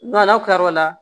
N'aw kilar'o la